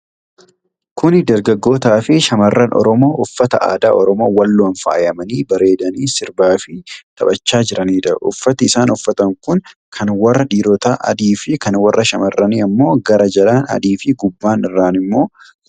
Kuni darggaggoota fi shammarran Oromoo uffata aadaa Oromoo Walloon faayamanii bareedanii sirbaa fi taphachaa jiranidha. Uffati isaan uffatan kun kan warra dhiirotaa adii fi kan warra shamarranii ammoo gara jalaan adii fi gubbaa irraan ammoo magariisadha.